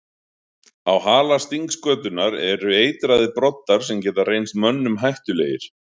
Á hala stingskötunnar eru eitraðir broddar sem geta reynst mönnum hættulegir.